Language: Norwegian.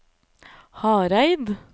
Hareid